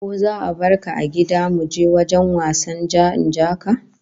Ko za'a barka a gida muje wajen wasan ja-ni-in-ja-ka?